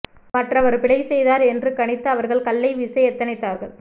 மற்றவர் பிழை செய்தார் என்று கணித்து அவர்கள் கல்லை வீச எத்தனித்தார்கள்